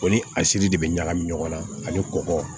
Ko ni a siri de bɛ ɲagami ɲɔgɔn na ani kɔgɔ